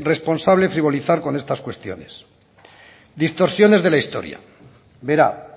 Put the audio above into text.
responsable frivolizar con estas cuestiones distorsiones de la historia verá